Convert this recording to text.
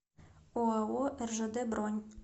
оао ржд бронь